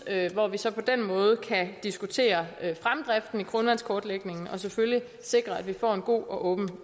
hvor vi så på den måde kan diskutere fremdriften i grundvandskortlægningen og selvfølgelig sikre at vi får en god og